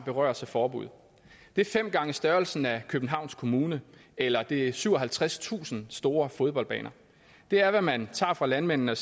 berøres af forbuddet det er fem gange størrelsen af københavns kommune eller det er syvoghalvtredstusind store fodboldbaner det er hvad man tager fra landmændene og